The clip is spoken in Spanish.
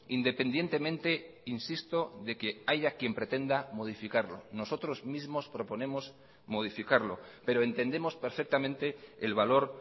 independientemente insisto de que haya quien pretenda modificarlo nosotros mismos proponemos modificarlo pero entendemos perfectamente el valor